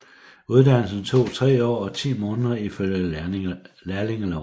Uddannelsen tog 3 år og 10 måneder ifølge lærlingeloven